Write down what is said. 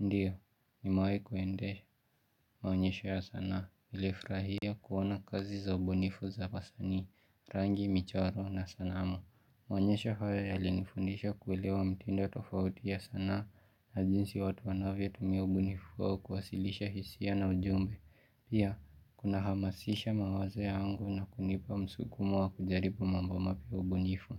Ndio, nimewahi kuenda, maonyesho ya sanaa, nilifrahia kuona kazi za ubunifu za wasanii, rangi, michoro, na sanamu. Maonyesho hayo ya linifundisha kuelewa mtindo tofauti ya sanaa, na jinsi watu wanavyo tumia ubunifu wao kuwasilisha hisia na ujumbe. Pia, kuna hamasisha mawazo yangu na kunipa msukumo wa kujaribu mambo mapya ubunifu.